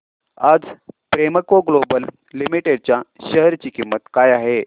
आज Premco Global Limited च्या share ची किंमत काय आहे